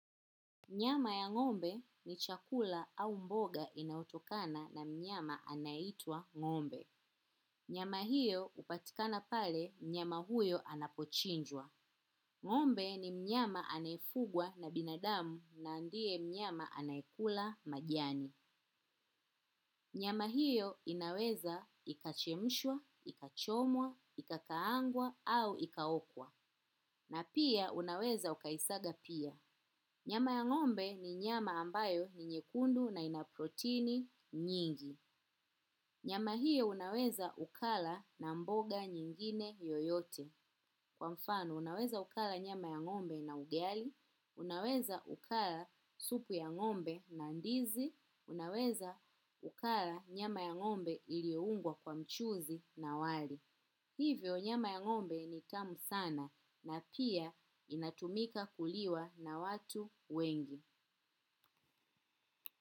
Nyama ya ng'ombe ni chakula au mboga inayotokana na mnyama anaitwa ng'ombe. Nyama hiyo upatikana pale mnyama huyo anapochinjwa. Ngombe ni mnyama anaefugwa na binadamu na ndie mnyama anaekula majani. Nyama hiyo inaweza ikachemshwa, ikachomwa, ikakaangwa au ikaokwa. Na pia unaweza ukaisaga pia. Nyama ya ng'ombe ni nyama ambayo ni nyekundu na inaproteini nyingi. Nyama hiyo unaweza ukala na mboga nyingine yoyote. Kwa mfano unaweza ukala nyama ya ng'ombe na ugali, unaweza ukala supu ya ng'ombe na ndizi, unaweza ukala nyama ya ng'ombe iliungwa kwa mchuzi na wali. Hivyo nyama ya ngo'mbe ni tamu sana na pia inatumika kuliwa na watu wengi.